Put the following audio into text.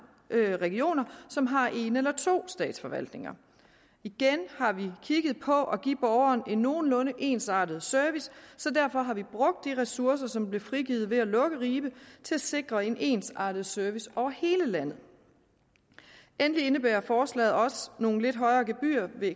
regioner som har en eller to statsforvaltninger igen har vi kigget på at give borgeren en nogenlunde ensartet service så derfor har vi brugt de ressourcer som blev frigivet ved at lukke ribe til at sikre en ensartet service over hele landet endelig indebærer forslaget også nogle lidt højere gebyrer ved